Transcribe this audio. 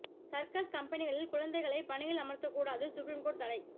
circus கம்பெனிகளில் குழந்தைகளை பணியில் அமர்த்தக்கூடாது சுப்ரீம் கோர்ட்டு தடை